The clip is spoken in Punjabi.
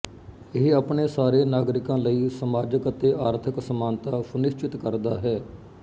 ਇਹ ਆਪਣੇ ਸਾਰੇ ਨਾਗਰਿਕਾਂ ਲਈ ਸਮਾਜਕ ਅਤੇ ਆਰਥਕ ਸਮਾਨਤਾ ਸੁਨਿਸਚਿਤ ਕਰਦਾ ਹੈ